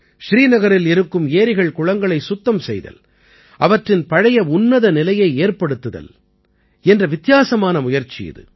ஸ்ரீநகரில் இருக்கும் ஏரிகள்குளங்களைச் சுத்தம் செய்தல் அவற்றின் பழைய உன்னத நிலையை ஏற்படுத்தல் என்ற வித்தியாசமான முயற்சி இது